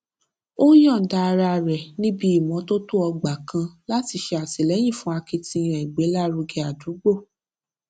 ó yòǹda ara rẹ níbi ìmótótó ọgbà kan láti ṣè àtìléyìn fún akitiyan ìgbélárugẹ ádúgbò